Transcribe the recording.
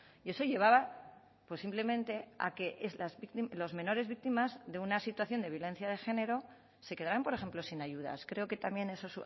y eso llevaba simplemente a que los menores víctimas de una situación de violencia de género se quedarán por ejemplo sin ayudas creo que también eso